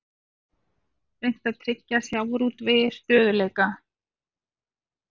Reynt að tryggja sjávarútvegi stöðugleika